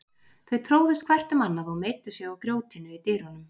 Þau tróðust hvert um annað og meiddu sig á grjótinu í dyrunum.